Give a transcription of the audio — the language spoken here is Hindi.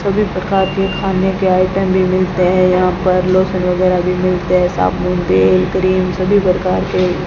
सभी प्रकार के खाने के आइटम भी मिलते हैं यहां पर लोशन वगैरह भी मिलते हैं साबुन तेल क्रीम सभी प्रकार के --